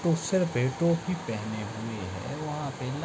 उसर पे टोपी पहने हुए है वहाँ पे ल् --